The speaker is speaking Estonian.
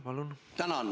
Palun!